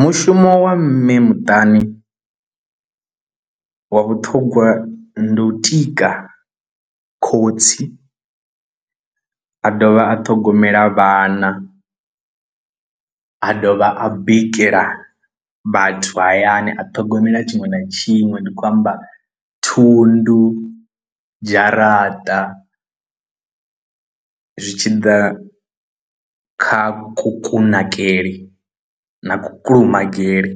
Mushumo wa mme muṱani wa vhuṱhogwa ndi u tika khotsi a dovha a ṱhogomela vhana a dovha a bikela vhathu hayani a ṱhogomela tshiṅwe na tshiṅwe ndi khou amba thundu dzharaṱa zwi tshi ḓa kha ku kunakele na ku kulumagale